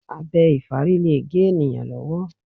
Abẹ ìfárí lè gé ènìyàn lọ́wọ́.